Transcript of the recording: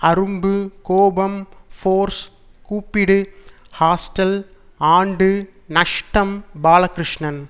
அரும்பு கோபம் ஃபோர்ஸ் கூப்பிடு ஹாஸ்டல் ஆண்டு நஷ்டம் பாலகிருஷ்ணன்